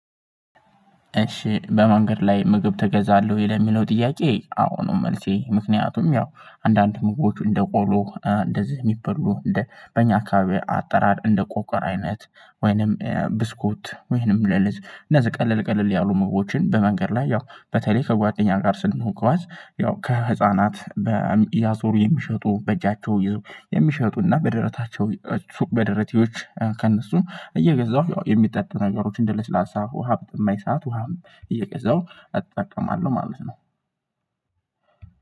እሺ በመንገድ ላይ ምግብ ትገዛለህ ወይ? ለሚለው ጥያቄ አዎ ነው መልሴ ምክንያቱም ያው አንዳንድ ምግቦች እንደ ቆሎ እንደዚህ የሚበሉ እንደ በኛ አካባቢ አጠራር እንደ ቆቀር አይነት ወይንም ብስኩት ወይንም ለልዝ እነዚህ ቀለል ቀለል ያሉ ምግቦችን በመንገድ ላይ ያው በተለይ ከጓደኛ ጋር ስንጓዝ ያው ከህፃናት በያዞሩ የሚሸጡ በእጃቸው የሚሸጡና በደረታቸው ሱቅ በደረቴዎች ከእነሱ እየገዛሁ የሚጠጡ ነገሮች እንደ ለስላሳ ውሃ በጠማኝ ሰዓት ውሃም እየገዛው እጠቀማለሁ ማለት ነው